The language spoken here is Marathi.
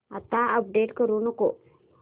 आता अपडेट करू नको